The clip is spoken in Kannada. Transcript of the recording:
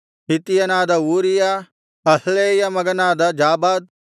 ಹಿತ್ತಿಯನಾದ ಊರೀಯ ಅಹ್ಲೈಯ ಮಗನಾದ ಜಾಬಾದ್